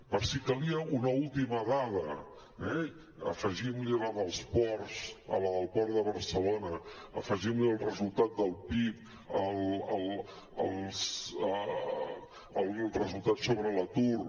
per si calia una última dada eh afegim ne la dels ports la del port de barcelona afegim ne el resultat del pib el resultat sobre l’atur